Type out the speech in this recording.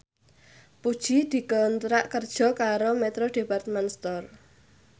Puji dikontrak kerja karo Metro Department Store